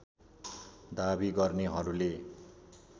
दाबी गर्नेहरूले